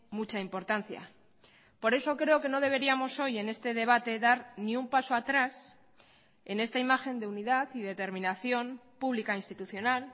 mucha importancia por eso creo que no deberíamos hoy en este debate dar ni un paso atrás en esta imagen de unidad y determinación pública institucional